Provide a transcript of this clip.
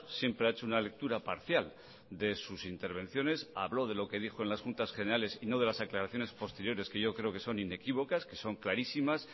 siempre ha hecho una lectura parcial de sus intervenciones habló de lo que dijo en las juntas generales y no de las aclaraciones posteriores que yo creo que son inequívocas que son clarísimas